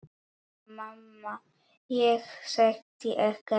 Mamma: Ég setti ekkert niður!